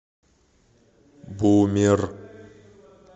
бумер